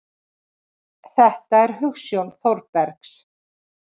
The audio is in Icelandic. Þetta er hugsjón Þórbergs.